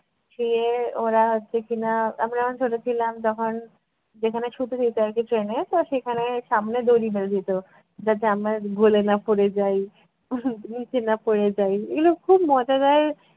শুয়ে ওরা হচ্ছে কি-না, আমরা যখন ছোট ছিলাম তখন যেখানে শুতে দিত আর কী train এ তো সেখানে সামনে দড়ি বেঁধে দিত যাতে আমরা গলে না পড়ে যাই নিচে না পড়ে যাই এগুলো খুব মজাদার